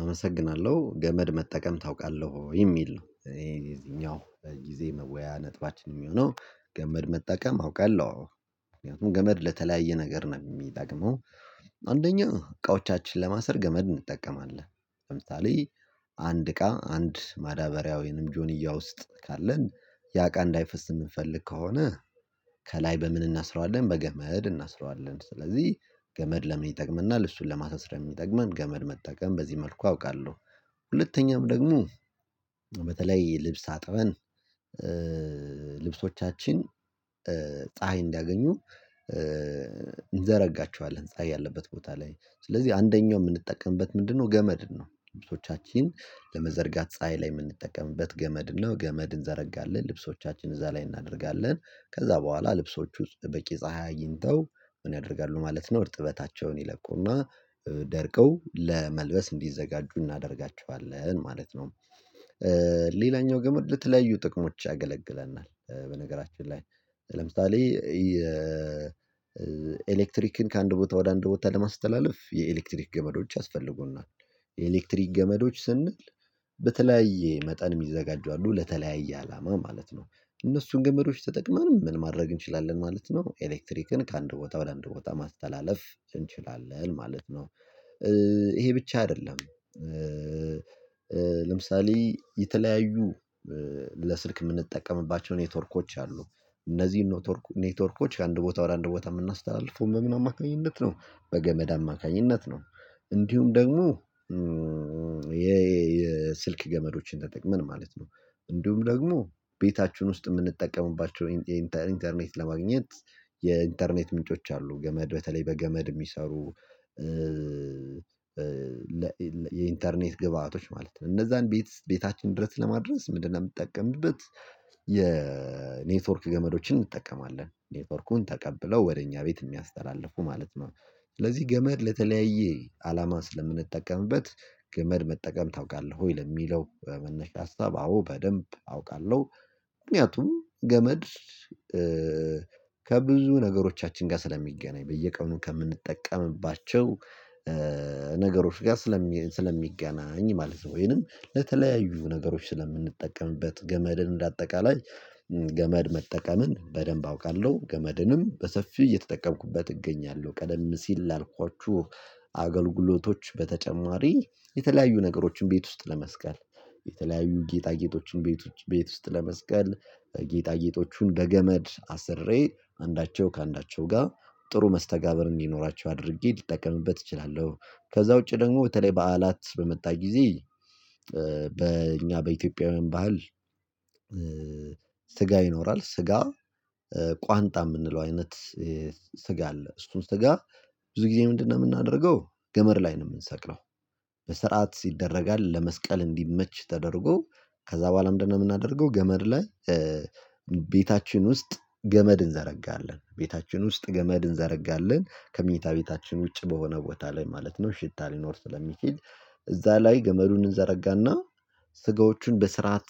አመሰግናለሁ ገመድ መጠቀም ታውቃለህ ወይ? የሚል ነው እኔ የዚኛው ጊዜ መወያያ ነጥባችን የሚሆነው ገመድ መጠቀም አውቃለሁ አዎ። ምክንያቱም ገመድ ለተለያየ ነገር ነው የሚጠቅመው። አንደኛ እቃዎቻችንን ለማሰር ገመድ እንጠቀማለን ለምሳሌ አንድ እቃ አንድ ማዳበሪያ ወይንም ጆኒያ ውስጥ ካለን ያ እቃ እንዳይፈስ የምንፈልግ ከሆነ። ከላይ በምን እናስረዋለን በገመድ እናስረዋለን ስለዚህ ገመድ ለምን ይጠቅመናል እሱን ለማሳሰር የሚጠቅመን ገመድ መጠቀም በዚህ መልኩ አውቃለሁ። ሁለተኛም ደግሞ በተለይ ልብስ አጥበን ልብሶቻችን ፀሀይ እንዲያገኙ እንዘረጋቸዋለን ፀሀይ ያለበት ቦታ ላይ ስለዚህ አንደኛው የምንጠቀምበት ምንድነው? ገመድን ነው ልብሶቻችን ለመዘርጋት ፀሀይ ላይ የምንጠቀምበት ገመድ ነው። ገመድ እንዘረጋለን ልብሶቻችንን እዛ ላይ እናደርጋለን ከዛ በኋላ ልብሶቹ ውስጥ በቂ ፀሀይ አግኝተው ምን ያደርጋሉ ማለት ነው? እርጥበታቸውን ይለቁና ደርቀው ለመልበስ እንዲዘጋጁ እናደርጋቸዋለን ማለት ነው። ሌላኛው ገመድ ለተለያዩ ጥቅሞች ያገለግለናል በነገራችን ላይ ለምሳሌ የኤሌክትሪክን ከአንድ ቦታ ወደ አንድ ቦታ ለማስተላለፍ የኤሌክትሪክ ገመዶች ያስፈልጉናል። የኤሌክትሪክ ገመዶች ስንል በተለያየ መጠን የሚዘጋጁ አሉ ለተለያየ አላማ ማለት ነው። እነሱን ገመዶች ተጠቅመንም ምን ማድረግ እንችላለን ማለት ነው። ኤሌክትሪክን ከአንድ ቦታ በአንድ ቦታ ማስተላለፍ እንችላለን ማለት ነው። ይሄ ብቻ አይደለም። ለምሳሌ የተለያዩ ለስልክ የምንጠቀምባቸው ኔትወርኮች አሉ። እነዚህን ኔትወርኮች አንድ ቦታ ወደ አንድ ቦታ የምናስተላልፈው ምን ነው አማካኝነት ነው? በገመድ አማካኝነት ነው። እንዲሁም ደግሞ የስልክ ገመዶችን ተጠቅመን ማለት ነው እንዲሁም ደግሞ ቤታችን ውስጥ የምንጠቀምባቸው የ ኢንተርኔት ለማግኘት የኢንተርኔት ምንጮች አሉ ገመድ በተለይ በገመድ የሚሰሩ የኢንተርኔት ግብአቶች ማለት ነው። እነዛን ቤት ቤታችን ድረስ ለማድረስ ምንድነው? የምትጠቀምበት የኔትወርክ ገመዶችን እንጠቀማለን ኔትወርኩን ተቀብለው ወደ እኛ ቤት የሚያስተላልፉ ማለት ነው። ስለዚህ ገመድ ለተለያየ አላማ ስለምንጠቀምበት ገመድ መጠቀም ታውቃለህ ወይ? ለሚለው መነሻ ሀሳብ አዎ በደንብ አውቃለሁ። ምክንያቱም ገመድ ከብዙ ነገሮቻችን ጋር ስለሚገናኝ በየቀኑ ከምንጠቀምባቸው ነገሮች ጋር ስለሚገናኝ ማለት ነው ወይንም ለተለያዩ ነገሮች ስለምንጠቀምበት ገመድን እንደ አጠቃላይ። ገመድ መጠቀምን በደንብ አውቃለሁ ገመድንም በሰፊው እየተጠቀምኩበት እገኛለሁ። ቀደም ሲል ላልኳችሁ አገልግሎቶች በተጨማሪ የተለያዩ ነገሮችን ቤት ውስጥ ለመስቀል የተለያዩ ጌጣጌጦችን ቤቶች ቤት ውስጥ ለመስቀል ጌጣጌጦቹን በገመድ አስሬ አንዳቸው ከአንዳቸው ጋር ጥሩ መስተጋብር እንዲኖራቸው አድርጌ ልጠቀምበት እችላለሁ። ከዛ ውጪ ደግሞ በተለይ በዓላት በመጣ ጊዜ በእኛ በኢትዮጵያውያን ባህል ስጋ ይኖራል ስጋ ቋንጣ የምንለው አይነት ስጋ አለ እሱን ስጋ ብዙ ጊዜ ምንድነው የምናደርገው ገመድ ላይ ነው የምንሰቅለው። በስርዓት ይደረጋል ለመስቀል እንዲመች ተደርጎ ከዛ በኋላ ምንድነው የምናደርገው? ገመድ ላይ ቤታችን ውስጥ ገመድ እንዘረጋለን ቤታችን ውስጥ ገመድ እንዘረጋለን ከመኝታ ቤታችን ውጭ በሆነ ቦታ ላይ ማለት ነው። ሽታ ሊኖር ስለሚችል እዛ ላይ ገመዱን እንዘረጋና ስጋዎቹን በስርዓት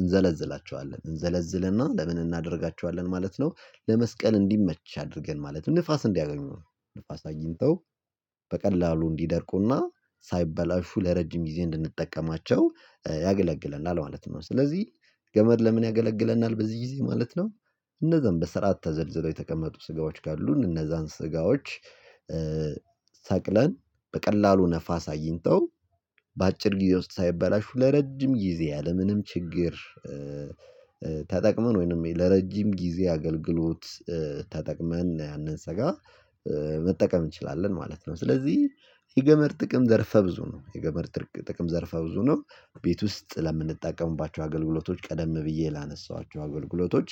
እንዘለዝላቸዋለን እንዘለዝልና ለምን እናደርጋቸዋለን ማለት ነው። ለመስቀል እንዲመች አድርገን ማለት ነው ንፋስ እንዲያገኙ ንፋስ አግኝተው በቀላሉ እንዲደርቁና ሳይበላሹ ለረጅም ጊዜ እንድንጠቀማቸው ያገለግለናል ማለት ነው። ስለዚህ ገመድ ለምን ያገለግለናል በዚህ ጊዜ ማለት ነው። እነዛን በስራ ተዘልዝለው የተቀመጡ ስጋዎች ካሉን እነዛን ስጋዎች ሰቅለን በቀላሉ ነፋስ አዲንተው በአጭር ጊዜ ውስጥ ሳይበላሹ ለረጅም ጊዜ ያለምንም ችግር። ተጠቅመን ወይንም ለረጅም ጊዜ አገልግሎት ተጠቅመን ያንን ስጋ መጠቀም እንችላለን ማለት ነው። ስለዚህ የገመድ ጥቅም ዘርፈ ብዙ ነው። የገመድ ጥቅም ዘርፈ ብዙ ነው። ቤት ውስጥ ለምንጠቀምባቸው አገልግሎቶች ቀደም ብዬ ላነሳኋቸው አገልግሎቶች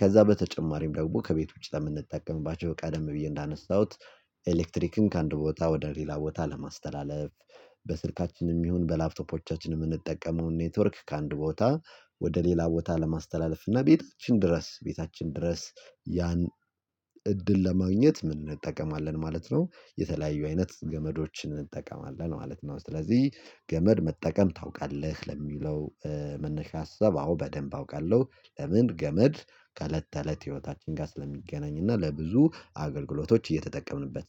ከዛ በተጨማሪም ደግሞ ከቤት ውጪ ለምንጠቀምባቸው ቀደም ብዬ እንዳነሳሁት ኤሌክትሪክን ከአንድ ቦታ ወደ ሌላ ቦታ ለማስተላለፍ። በስልካችንም ይሁን በላፕቶፖቻችንም የምንጠቀመውን ኔትወርክ ከአንድ ቦታ ወደ ሌላ ቦታ ለማስተላለፍ እና ቤታችን ድረስ ቤታችን ድረስ ያን እድል ለማግኘት እንጠቀማለን ማለት ነው። የተለያዩ አይነት ገመዶችን እንጠቀማለን ማለት ነው። ስለዚህ ገመድ መጠቀም ታውቃለህ? ለሚለው መነሻ ሀሳብ አዎ በደንብ አውቃለሁ። ለምን ገመድ ከእለት ተእለት ህይወታችን ጋር ስለሚገናኝ እና ለብዙ አገልግሎቶች እየተጠቀምንበት